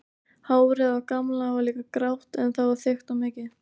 Hárið á Gamla var líka grátt en það var þykkt og mikið.